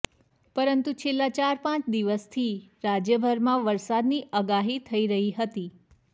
પરંતુ છેલ્લા ચાર પાંચ દિવસથી રાજ્યભરમાં વરસાદની આગાહી થઇ રહી હતી